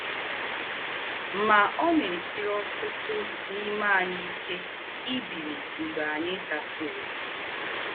Mà, ọ̀ nà-èsírì ọ̀tútù n’ímè ànyí íké ìbílí mgbè ànyí dàsìrì.